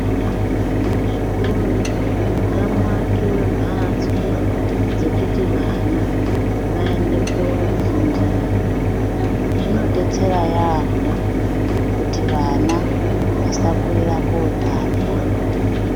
Muzvikora ngamuwakiwe mbatso dzekuti vana vaende kofundira zvinodetsera yaambo kuti vana vasakorera kotamba.